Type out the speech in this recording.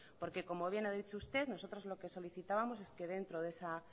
porque como bien ha dicho usted nosotros lo que solicitábamos es que dentro de esa